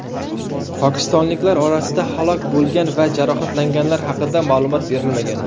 Pokistonliklar orasida halok bo‘lgan va jarohatlanganlar haqida ma’lumot berilmagan.